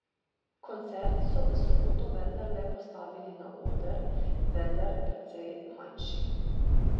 Koncert so v soboto vendarle postavili na oder, vendar precej manjši.